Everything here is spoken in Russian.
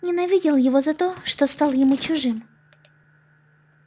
ненавидел его за то что стал ему чужим